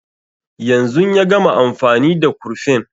Yanzun ya gama amfani da kurfin